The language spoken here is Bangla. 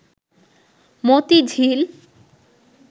মতিঝিল